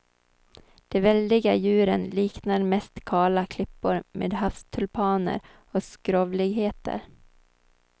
De väldiga djuren liknar mest kala klippor med havstulpaner och skrovligheter.